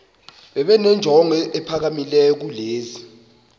benenjongo eziphakamileyo kunezi